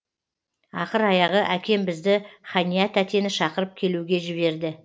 ақыр аяғы әкем бізді хания тәтені шақырып келуге жіберді